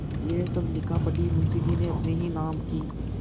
यह सब लिखापढ़ी मुंशीजी ने अपने ही नाम की क्